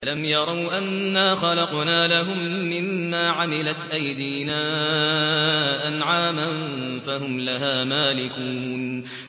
أَوَلَمْ يَرَوْا أَنَّا خَلَقْنَا لَهُم مِّمَّا عَمِلَتْ أَيْدِينَا أَنْعَامًا فَهُمْ لَهَا مَالِكُونَ